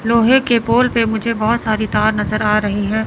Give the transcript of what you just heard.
लोहे के पोल पे मुझे बहोत सारी तार नजर आ रही है।